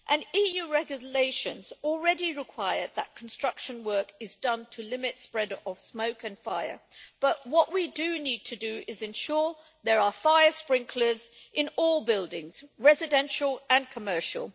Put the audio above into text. EU regulations already require that construction work is done to limit the spreading of smoke and fire, but what we need to do is ensure there are fire sprinklers in all buildings, residential and commercial.